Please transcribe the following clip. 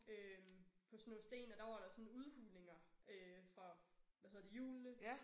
Øh på sådan noget sten og der var der sådan udhulinger øh fra hvad hedder det hjulene